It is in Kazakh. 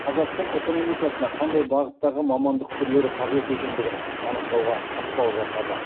қазақстан экономикасына қандай бағыттағы мамандық түрлері қажет екендігін анықтауға ықпал жасады